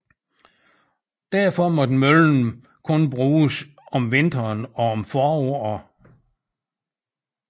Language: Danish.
Derfor måtte møllen kun bruges om vinteren og om foråret